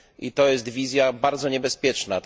To jest wizja bardzo niebezpieczna.